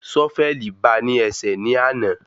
Sọ́fẹ̀lì ba ní ẹsẹ̀ ní àna